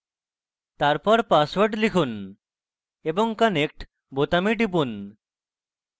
তারপর পাসওয়ার্ড লিখুন এবং connect বোতামে টিপুন